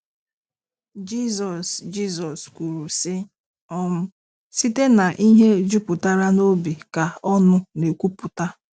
Jizọs Jizọs kwurusị: um “ Site n’ihe jupụtara n’obi ka ọnụ na-ekwuputa .”